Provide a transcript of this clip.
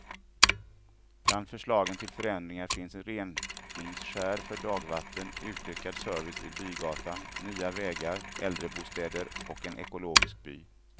Bland förslagen till förändringar finns reningskärr för dagvatten, utökad service vid bygatan, nya vägar, äldrebostäder och en ekologisk by.